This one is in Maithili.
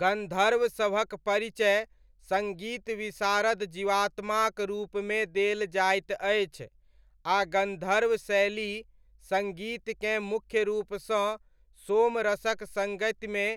गन्धर्वसभक परिचय सङ्गीत विशारद जीवात्माक रूपमे देल जाइत अछि आ गन्धर्व शैली सङ्गीतकेँ मुख्यरूपसँ सोमरसक सङ्गतिमे